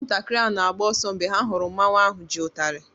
Ụmụntakịrị na-agba ọsọ mgbe ha hụrụ mmanwụ ahu ji utalị.